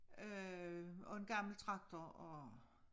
Øh og en gammel traktor og